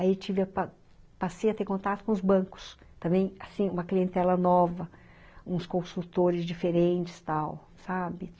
Aí passei a ter contato com os bancos, também, assim, uma clientela nova, uns consultores diferentes, tal, sabe?